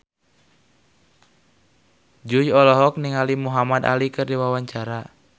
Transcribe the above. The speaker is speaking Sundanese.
Jui olohok ningali Muhamad Ali keur diwawancara